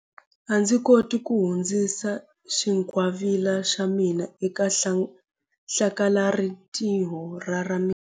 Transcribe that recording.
A ndzi koti ku hundzisa xingwavila xa mina eka hlakalarintiho ra ra mina.